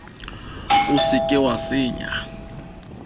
o se ke wa senya